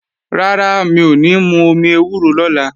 Rárá, mi ò ní mú omi ewúro lọ́la